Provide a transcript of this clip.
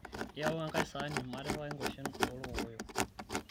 iyau enkae esaani maatipikaki inkuashe oolkokoyo